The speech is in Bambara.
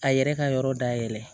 A yɛrɛ ka yɔrɔ dayɛlɛ